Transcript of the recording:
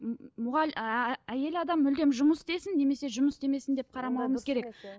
ыыы әйел адам мүлдем жұмыс істесін немесе жұмыс істемесін деп қарамауымыз керек